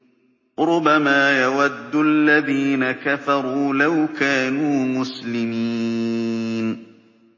رُّبَمَا يَوَدُّ الَّذِينَ كَفَرُوا لَوْ كَانُوا مُسْلِمِينَ